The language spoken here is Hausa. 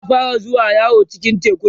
za'a fara zuwa yawo cikin teku